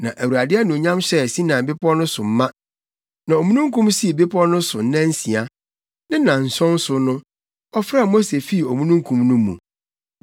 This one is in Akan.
Na Awurade anuonyam hyɛɛ Sinai bepɔw no so ma. Na omununkum sii bepɔw no so nnansia. Ne nnanson so no, ɔfrɛɛ Mose fii omununkum no mu.